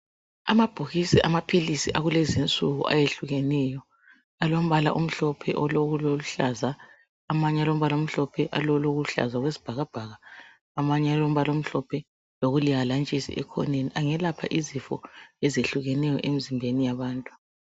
Amabhokisi amaphilisi akulezinsuku ayehlukeneyo alombala omhlophe olokuluhlaza amanye alombala omhlophe olokuluhlaza okwesibhakabhaka amanye alombala olihalantshisi ekhoneni ungelapha izifuna ezehlukeneyo emzimbeni yabantu